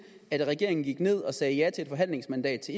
at regeringen gik ned og sagde ja til et forhandlingsmandat til